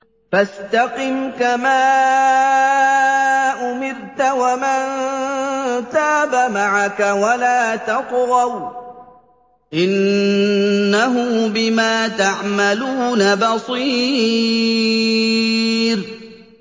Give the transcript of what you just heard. فَاسْتَقِمْ كَمَا أُمِرْتَ وَمَن تَابَ مَعَكَ وَلَا تَطْغَوْا ۚ إِنَّهُ بِمَا تَعْمَلُونَ بَصِيرٌ